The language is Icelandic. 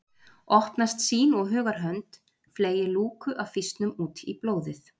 Opnast sýn og hugar hönd fleygir lúku af fýsnum út í blóðið